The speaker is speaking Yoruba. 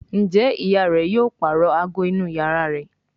Njé ìyá rẹ yóò parọ àgọ inú iyàrá rẹ?